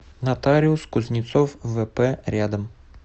нотариус кузнецов вп рядом